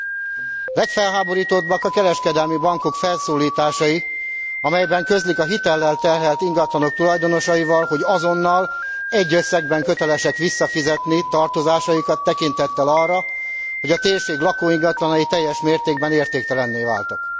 A legfelháborítóbbak a kereskedelmi bankok felszólításai, amelyben közlik a hitellel terhelt ingatlanok tulajdonosaival, hogy azonnal, egy összegben kötelesek visszafizetni tartozásaikat, tekintettel arra, hogy a térség lakóingatlanai teljes mértékben értéktelenné váltak.